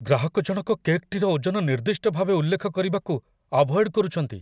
ଗ୍ରାହକଜଣକ କେକ୍‌ଟିର ଓଜନ ନିର୍ଦ୍ଦିଷ୍ଟ ଭାବେ ଉଲ୍ଲେଖ କରିବାକୁ ଆଭଏଡ଼୍ କରୁଛନ୍ତି।